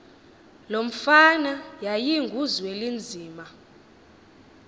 lo mfana yayinguzwelinzima